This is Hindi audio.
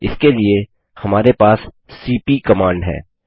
इसके लिए हमारे पास सीपी कमांड है